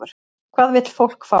Hvað vill fólk fá?